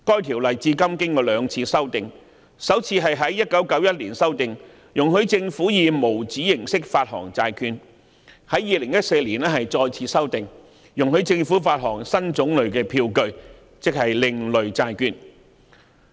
《條例》至今經過兩次修訂，首次在1991年修訂，容許政府以無紙形式發行債券，並在2014年再次修訂，容許政府發行新種類票據，即另類債券。